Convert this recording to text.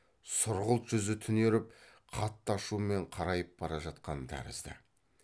сұрғылт жүзі түнеріп қатты ашумен қарайып бара жатқан тәрізді